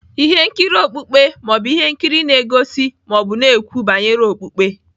Ihe nkiri okpukpe ma ọ bụ ihe nkiri na-egosi ma ọ bụ na-ekwu banyere okpukpe.